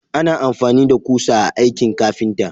Ana amfani da ƙusa a aikin ƙafinta.